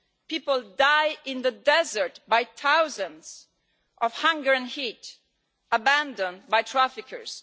People die in the desert in their thousands of hunger and heat, abandoned by traffickers.